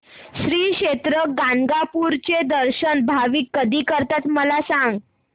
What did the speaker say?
श्री क्षेत्र गाणगापूर चे दर्शन भाविक कधी करतात मला सांग